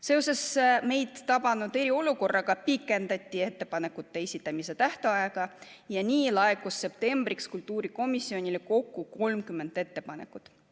Seoses meid tabanud eriolukorraga pikendati ettepanekute esitamise tähtaega ja nii laekus septembriks kultuurikomisjonile kokku 30 ettepanekut.